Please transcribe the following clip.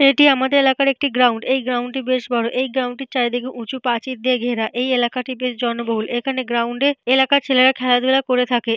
এটি আমাদের এলাকার একটি গ্রাউন্ড । এই গ্রাউন্ড - টি বেশ বড়ো। এই গ্রাউন্ড - টির চারিদিকে উঁচু প্রাচীর দিয়ে ঘেরা। এই এলাকাটি বেশ জনবহুল। এখানে গ্রাউন্ড - এ এলাকার ছেলেরা খেলাধুলা করে থাকে।